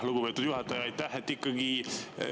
Lugupeetud juhataja, aitäh!